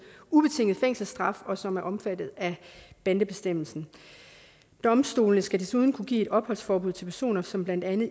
ubetinget fængselsstraf og som er omfattet af bandebestemmelsen domstolene skal desuden kunne give et opholdsforbud til personer som blandt andet